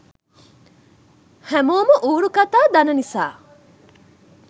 හැමෝම ඌරු කතා දන නිසා